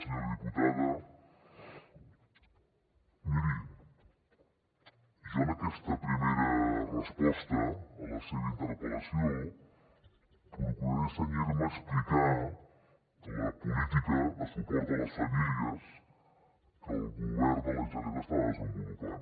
senyora diputada miri jo en aquesta primera resposta a la seva interpel·lació procuraré cenyir me a explicar la política de suport a les famílies que el govern de la generalitat està desenvolupant